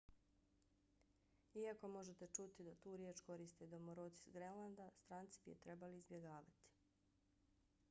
iako možete čuti da tu riječ koriste domoroci s grenlanda stranci bi je trebali izbjegavati